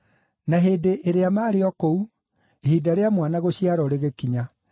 Na hĩndĩ ĩrĩa maarĩ o kũu, ihinda rĩa mwana gũciarwo rĩgĩkinya,